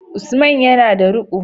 Usaman yana da ruqo